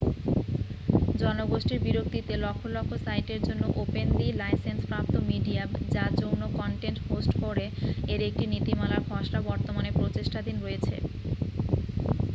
জনগোষ্ঠীর বিরক্তিতে লক্ষ লক্ষ সাইটের জন্য ওপেনলি-লাইসেন্সপ্রাপ্ত মিডিয়া যা যৌন কন্টেন্ট হোস্ট করে এর একটি নীতিমালার খসড়া বর্তমানে প্রচেষ্টাধীন রয়েছে